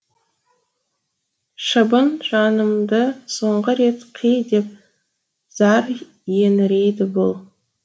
шыбын жанымды соңғы рет қи деп зар еңірейді бұл